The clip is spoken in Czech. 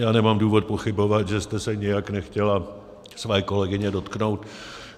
Já nemám důvod pochybovat, že jste se nijak nechtěla své kolegyně dotknout.